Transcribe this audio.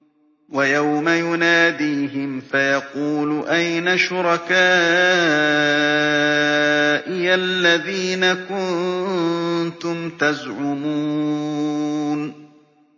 وَيَوْمَ يُنَادِيهِمْ فَيَقُولُ أَيْنَ شُرَكَائِيَ الَّذِينَ كُنتُمْ تَزْعُمُونَ